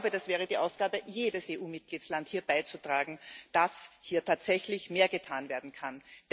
Ich glaube, das wäre die Aufgabe jedes EU Mitgliedstaats, dazu beizutragen, dass hier tatsächlich mehr getan werden kann.